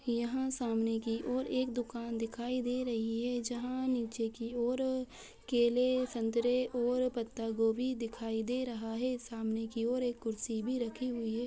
यहाँ सामने की ओर एक दुकान दिखाई दे रही हैजहाँ नीचे की ओर केले संतरे और पत्तागोभी दिखाई दे रहा है। सामने की ओर एक कुर्सी भी रखी हुई है।